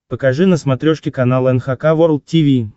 покажи на смотрешке канал эн эйч кей волд ти ви